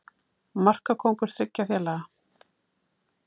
Markakóngur þriggja félaga